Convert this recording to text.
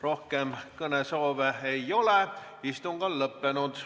Rohkem kõnesoove ei ole, istung on lõppenud.